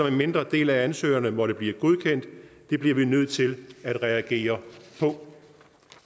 en mindre del af ansøgningerne måtte blive godkendt det bliver vi nødt til at reagere på